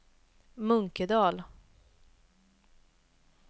Munkedal